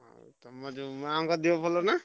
ଆଉ ତମ ଯୋଉ ମାଆଙ୍କ ଦେହ ଭଲ ନା?